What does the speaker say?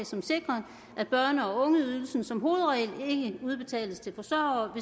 som sikrer at børne og ungeydelsen som hovedregel ikke udbetales til forsørgere